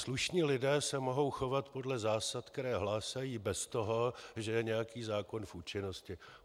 Slušní lidé se mohou chovat podle zásad, které hlásají, bez toho, že je nějaký zákon v účinnosti.